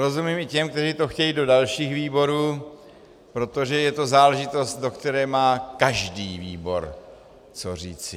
Rozumím i těm, kteří to chtějí do dalších výborů, protože je to záležitost, do které má každý výbor co říci.